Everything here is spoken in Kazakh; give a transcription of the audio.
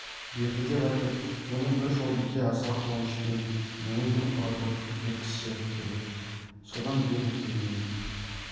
берді деп айтып оны бір жолбике аса қуанышпен буын бұрқыратып жеткізсе керек содан бер екеуінің